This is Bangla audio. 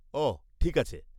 আহ! ঠিক আছে।